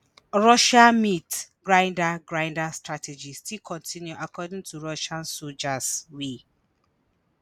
russia “meat grinder” grinder” strategy still continue according to russian soldiers wey